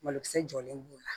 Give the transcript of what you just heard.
Malokisɛ jɔlen b'o la